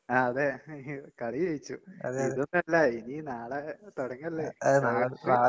അതെ അയ്യോ. കളി ജയിച്ചു. ഇതൊന്നല്ല ഇനി നാളെ തൊടങ്ങല്ലേ? നാളയ്ക്ക്